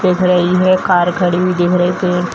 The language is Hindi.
दिख रही है कार खड़ी हुई दिख रही है पेड़ --